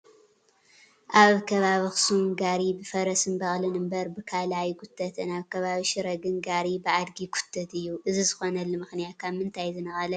ኣብ ከባቢ ኣኽሱም ጋሪ ብፈረስን በቕልን እምበር ብካልእ ኣይጉተትን፡፡ ኣብ ከባቢ ሽረ ግን ጋሪ ብኣድጊ ይጉተት እዩ፡፡ እዚ ዝኾነሉ ምኽንያት ካብ ምንታይ ዝነቐለ እዩ፡፡